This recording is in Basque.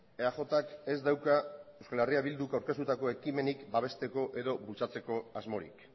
eajk ez dauka euskal herria bilduk aurkeztutako ekimenik babesteko edo bultzatzeko asmorik